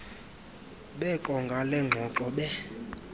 beqonga lengxoxo be